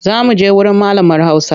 Za muje wurin malamar hausa.